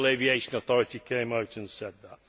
The Civil Aviation Authority came out and said that.